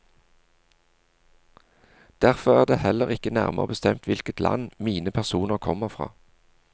Derfor er det heller ikke nærmere bestemt hvilket land mine personer kommer fra.